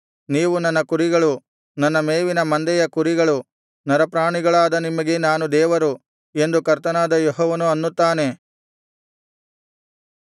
ನೀವು ನನ್ನ ಕುರಿಗಳು ನನ್ನ ಮೇವಿನ ಮಂದೆಯ ಕುರಿಗಳು ನರಪ್ರಾಣಿಗಳಾದ ನಿಮಗೆ ನಾನು ದೇವರು ಎಂದು ಕರ್ತನಾದ ಯೆಹೋವನು ಅನ್ನುತ್ತಾನೆ